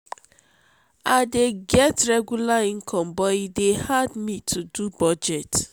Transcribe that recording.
i dey get regular income so e dey hard me to do budget.